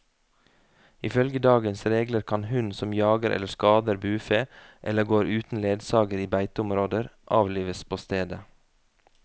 Ifølge dagens regler kan hund som jager eller skader bufe, eller går uten ledsager i beiteområder, avlives på stedet.